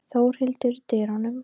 Þórhildur í dyrunum.